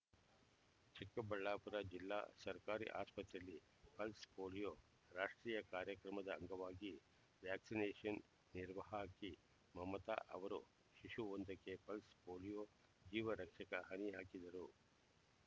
ಚಿಕ್ಕಬಳ್ಳಾಪುರ ಜಿಲ್ಲಾ ಸರ್ಕಾರಿ ಆಸ್ಪತ್ರೆಯಲ್ಲಿ ಪಲ್ಸ್ ಪೋಲಿಯೋ ರಾಷ್ಟ್ರೀಯ ಕಾರ್ಯಕ್ರಮದ ಅಂಗವಾಗಿ ವ್ಯಾಕ್ಸಿನೇಷನ್ ನಿರ್ವಾಹಕಿ ಮಮತಾ ಅವರು ಶಿಶುವೊಂದಕ್ಕೆ ಪಲ್ಸ್ ಪೋಲಿಯೋ ಜೀವ ರಕ್ಷಕ ಹನಿ ಹಾಕಿದರು